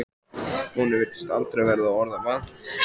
Honum virtist aldrei verða orða vant.